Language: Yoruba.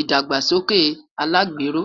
idagbasoke alagbero